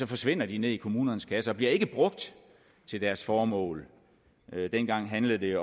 forsvinder de ned i kommunernes kasser og bliver ikke brugt til deres formål dengang handlede det